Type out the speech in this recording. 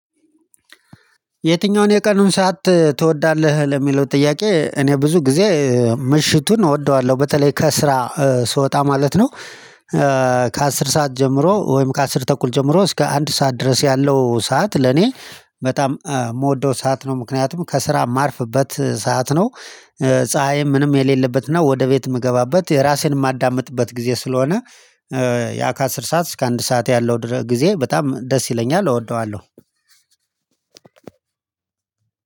የትኛውን የቀኑን ሰዓት ትወዳለህ? ለሚለው ጥያቄ እኔ ብዙ ጊዜ ምሽቱን እወደዋለሁ በተለይ ከስራ ስወጣ ማለት ነው ከአስር ሰዓት ጀምሮ ወይም ከአስር ተኩል ጀምሮ እስከ አንድ ሰዓት ድረስ ያለው ሰዓት ለኔ በጣም የምወደው ሰዓት ነው ምክንያቱም ከስራ ማርፍበት ሰዓት ነው ፀሀይም ምንም የሌለበት ነው ወደ ቤት የምገባበት የራሴን የማዳምጥበት ጊዜ ስለሆነ ያ ከአስር ሰዓት እስከ አንድ ሰዓት ያለው ጊዜ በጣም ደስ ይለኛል እወደዋለሁ